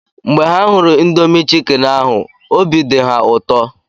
Mgbe ha hụrụ indomi chikini ahụ, obi di ha ụtọ